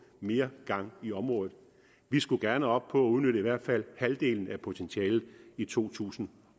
mere gang i området vi skulle gerne op på at udnytte i hvert fald halvdelen af potentialet i to tusind